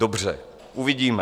Dobře, uvidíme.